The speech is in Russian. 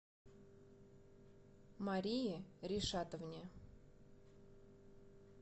марии ришатовне